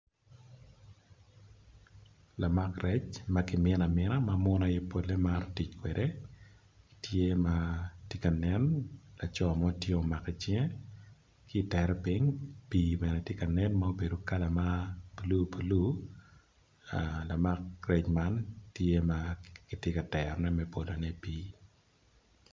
Lamak rec makimina mina ma munu aye pole maro tic kwede tye ma tye ka nen laco mo tye ma omako i cinge kitere ping pi bene tye ka nen ma obedo kala ma blue blue lamak rec man tye ma kityeka tero ne me bolo ne i di pi.